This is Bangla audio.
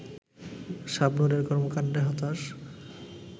শাবনূরের কর্মকাণ্ডে হতাশ